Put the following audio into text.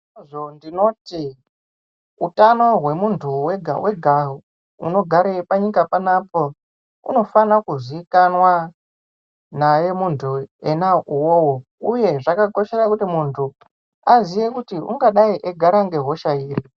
"Ngeizvozvo ndinoti, utano hwemuntu wega wega unogare panyika panapa unofane kuzikanwa naye muntu ena uwowo uye zvakakoshera kuti muntu aziye kuti ungadai egara ngehosha iri."